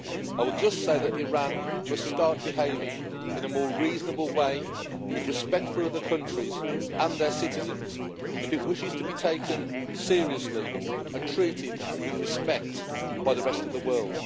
I would just say that Iran must start behaving in a more reasonable way, with respect for other countries and their citizens, if it wishes to be taken seriously and treated with respect by the rest of the world.